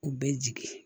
U bɛ jigi